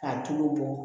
K'a tulo bɔ